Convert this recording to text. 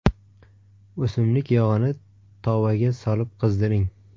O‘simlik yog‘ini tovaga solib qizdiring.